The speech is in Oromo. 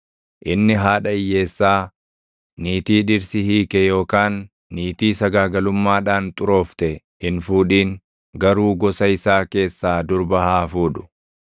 Inni haadha hiyyeessaa, niitii dhirsi hiike yookaan niitii sagaagalummaadhaan xuroofte hin fuudhin; garuu gosa isaa keessaa durba haa fuudhu;